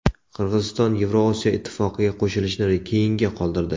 Qirg‘iziston Yevrosiyo ittifoqiga qo‘shilishni keyinga qoldirdi.